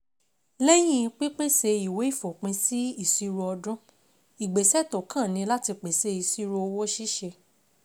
Lẹ́yìn pípèsè ìwé ìfòpinsí ìṣirò ọdún, ìgbésẹ̀ tó kàn ni láti pèsè ìṣirò òwò ṣíṣe.